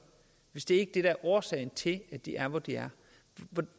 hvis det ikke det er årsagen til at de er hvor de er